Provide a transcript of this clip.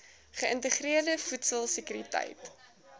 geïntegreerde voedsel sekuriteit